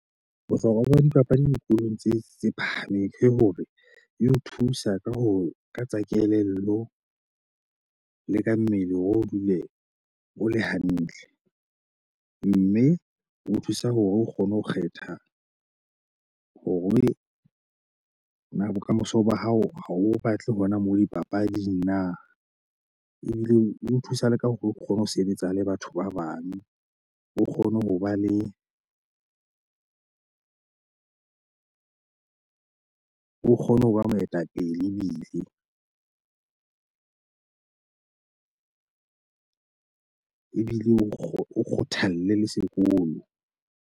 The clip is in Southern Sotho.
Bohlokwa ba dipapadi dikolong tse phahameng ke hore e o thusa ka ho ka tsa kelello le ka mmele hore o dule o le hantle. Mme ho thusa hore o kgone ho kgetha hore na bokamoso ba hao ha o batle hona moo dipapading na. Ebile o thusa le ka hore o kgone ho sebetsa le batho ba bang. O kgone ho ba le. O kgone ho ba moetapele, ebile o kgothalle le sekolo.